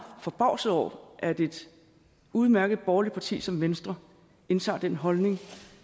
forbavset over at et udmærket borgerligt parti som venstre indtager den holdning